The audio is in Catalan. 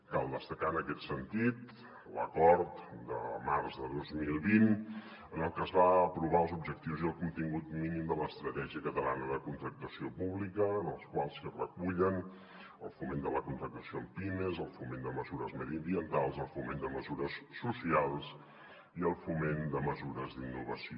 cal destacar en aquest sentit l’acord de març de dos mil vint en el que es van aprovar els objectius i el contingut mínim de l’estratègia catalana de contractació pública en els quals es recullen el foment de la contractació en pimes el foment de mesures mediambientals el foment de mesures socials i el foment de mesures d’innovació